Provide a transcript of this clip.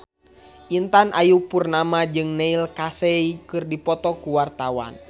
Intan Ayu Purnama jeung Neil Casey keur dipoto ku wartawan